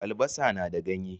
Albasa na da ganye.